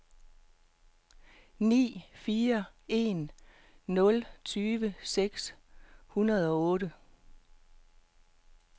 ni fire en nul tyve seks hundrede og otte